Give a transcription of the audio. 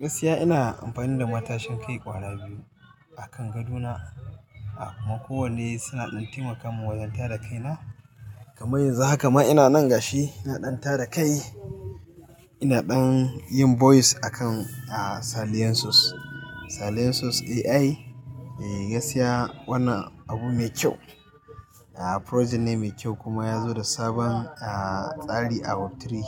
Gaskiya ina amfani da matashin kai ƙwara biyu a kan gadona. A kuma kowanne suna ɗan taimaka. Man wanjan tada kai na. Kamar yanzu haka ma ina nan gashi ina ɗan tada kai. Ina ɗan yin voice akan, ah, Silencius. Silencius AI, eh, gaskiya wani abu mai kyau. A, project ne mai kyau kuma ya zo da sabon, ah, tsari out of three,